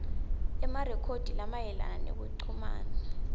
emarekhodi lamayelana nekuchumana